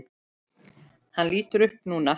Hann lítur upp núna.